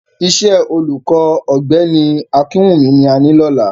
Iṣẹ́ olùkọ́ Ọ̀gbẹ́ni Akinwunmi ni a ní lọ́la